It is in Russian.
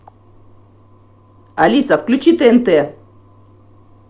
алиса включи тнт